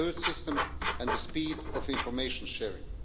system and the speed of information sharing.